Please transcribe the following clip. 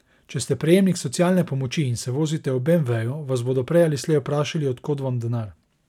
Če ste prejemnik socialne pomoči in se vozite v beemveju, vas bodo prej ali slej vprašali, od kod vam denar.